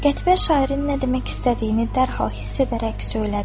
Qətibə şairin nə demək istədiyini dərhal hiss edərək söylədi: